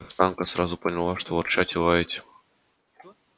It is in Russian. каштанка сразу поняла что ворчать и лаять